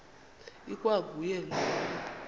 ikwa nguye lowo